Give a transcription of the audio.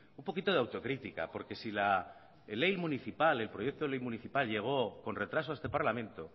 un poquito de autocrítica porque si la ley municipal el proyecto de ley municipal llegó con retraso a este parlamento